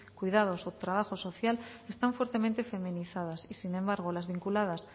cuidados o trabajo social están fuertemente feminizadas y sin embargo las vinculadas